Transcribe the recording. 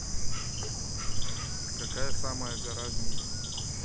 какая самая гора в мире